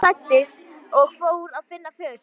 Ari klæddist og fór að finna föður sinn.